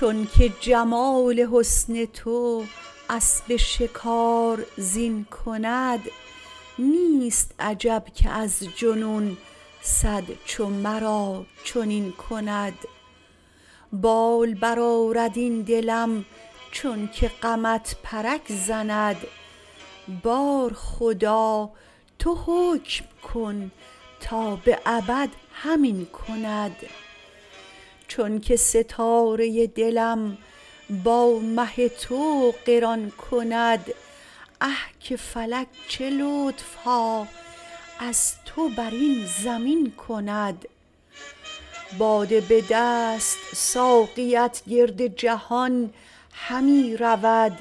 چونک جمال حسن تو اسب شکار زین کند نیست عجب که از جنون صد چو مرا چنین کند بال برآرد این دلم چونک غمت پرک زند بار خدا تو حکم کن تا به ابد همین کند چونک ستاره دلم با مه تو قران کند اه که فلک چه لطف ها از تو بر این زمین کند باده به دست ساقیت گرد جهان همی رود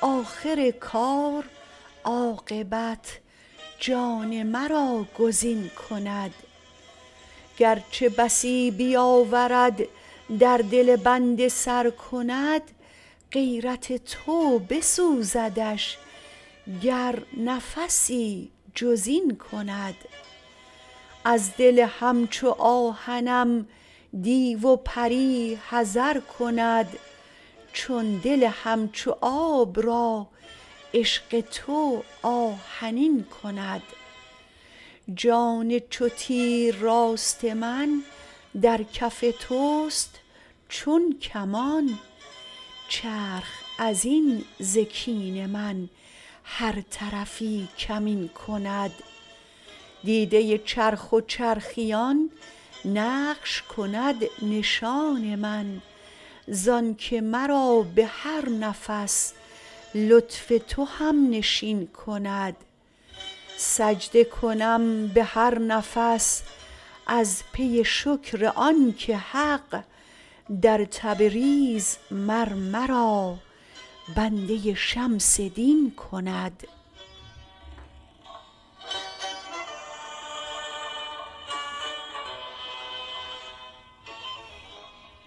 آخر کار عاقبت جان مرا گزین کند گر چه بسی بیاورد در دل بنده سر کند غیرت تو بسوزدش گر نفسی جز این کند از دل همچو آهنم دیو و پری حذر کند چون دل همچو آب را عشق تو آهنین کند جان چو تیر راست من در کف توست چون کمان چرخ از این ز کین من هر طرفی کمین کند دیده چرخ و چرخیان نقش کند نشان من زآنک مرا به هر نفس لطف تو هم نشین کند سجده کنم به هر نفس از پی شکر آنک حق در تبریز مر مرا بنده شمس دین کند